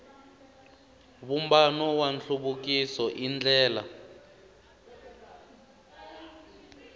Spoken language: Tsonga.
vumbano wa nhluvukiso i ndlela